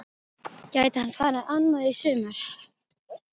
Gæti hann farið annað í sumar?